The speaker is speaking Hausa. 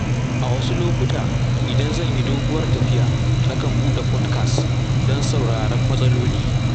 A wasu lokuta, idan zan yi doguwar tafiya, na kan buɗe podkas don sauraren matsaloli